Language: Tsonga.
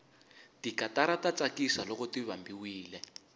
tikatara ta tsakisa loko ti vambiwile